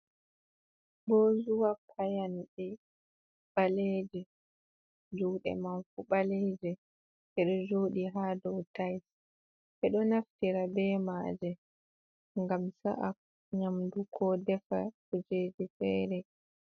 Bozuwa payanɗe ɓaleeje, juuɗe man fu ɓaleeje. Ɗe ɗo jooɗi ha dou tais. Ɓe ɗo naftira be maaje, ngam sa’a nyamdu, ko defa kujeji fere.